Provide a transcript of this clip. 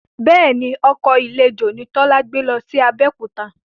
Bẹ́ẹ̀ni, ọkọ̀ eléjò ni Tọ́lá gbé lọ sí Abẹ́òkúta